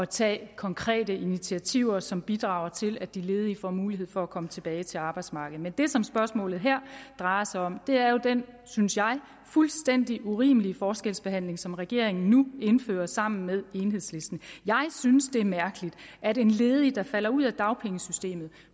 tage konkrete initiativer som bidrager til at de ledige får mulighed for at komme tilbage til arbejdsmarkedet men det som spørgsmålet her drejer sig om er jo den synes jeg fuldstændig urimelige forskelsbehandling som regeringen nu indfører sammen med enhedslisten jeg synes det er mærkeligt at en ledig der falder ud af dagpengesystemet